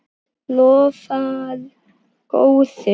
Lofar góðu!